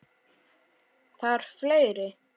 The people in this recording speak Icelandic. Þarf fleiri?